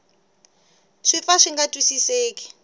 swi pfa swi nga twisiseki